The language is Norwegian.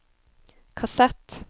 kassett